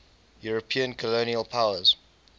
european colonial powers